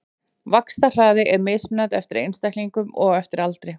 Vaxtarhraði er mismunandi eftir einstaklingum og eftir aldri.